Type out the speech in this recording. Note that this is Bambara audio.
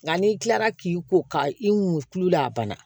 Nka n'i kilala k'i ko ka i mɔ tulu la a banna